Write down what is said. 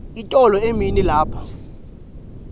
itolo emini lapha